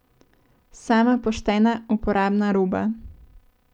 Sama poštena, uporabna roba.